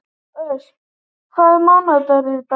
Ösp, hvaða mánaðardagur er í dag?